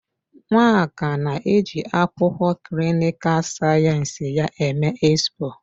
Nwaka na-eji akwụkwọ klịnịkal sayensị ya eme expo.